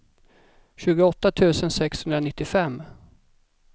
tjugoåtta tusen sexhundranittiofem